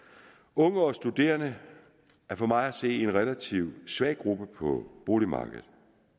unge og studerende er for mig at se en relativt svag gruppe på boligmarkedet